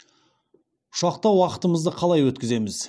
ұшақта уақытымызды қалай өткіземіз